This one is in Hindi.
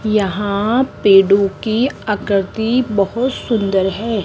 यहां पेड़ों की आकृति बहोत सुंदर है।